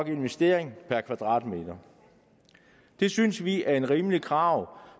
investering per kvadratmeter det synes vi er et rimeligt krav